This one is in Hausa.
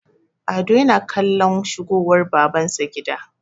ado yana kallon shigowar babansa gida